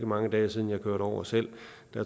mange dage siden jeg kørte over selv